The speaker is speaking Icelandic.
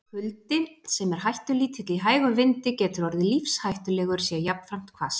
Kuldi, sem er hættulítill í hægum vindi, getur orðið lífshættulegur sé jafnframt hvasst.